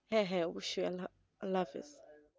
হ্যাঁ হ্যাঁ অবশ্যই আল্লা আল্লাহাফিজ